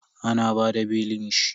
An bada belin shi.